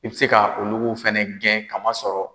I bɛ se ka olugu fana gɛn kamasɔrɔ